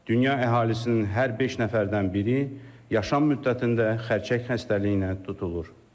Dünya əhalisinin hər beş nəfərdən biri yaşam müddətində xərçəng xəstəliyinə tutulur.